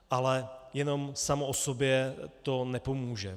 Ale jenom samo o sobě to nepomůže.